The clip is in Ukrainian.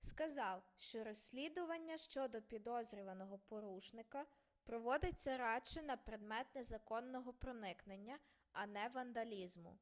сказав що розслідування щодо підозрюваного порушника проводиться радше на предмет незаконного проникнення а не вандалізму